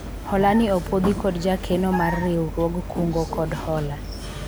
hola ni opwodhi kod jakeno mar riwruog kungo kod hola